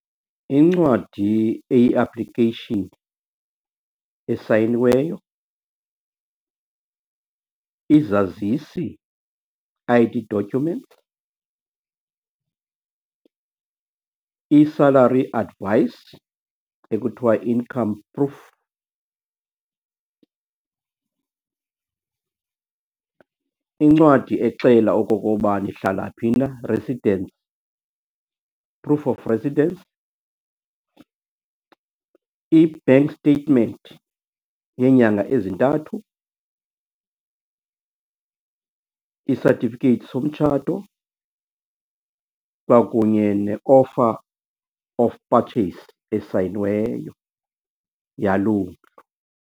Incwadi eyi-application esayiniweyo, izazisi, I_D document, i-salary advice ekuthiwa income proof, incwadi exela okokoba nihlala phi na, residence, proof of residence, i-bank statement yeenyanga ezintathu, i-certificate somtshato kwakunye ne-offer of purchase esayiniweyo yaloo mntu.